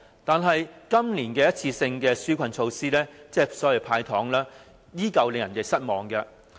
但是，今年的一次性紓困措施，亦即所謂的"派糖"，依舊令人失望。